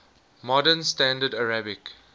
modern standard arabic